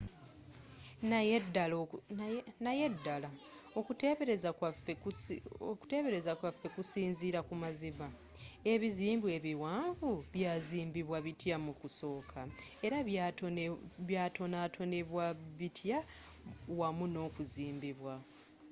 naye ddala okuteebereza kwaffe kusinziira ku mazima?ebizimbe ebiwanvu byazimbibwa bitya mu kusooka? era byatonatonebwa bitya wamu nokuzimbibwa?